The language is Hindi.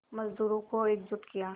मज़दूरों को एकजुट किया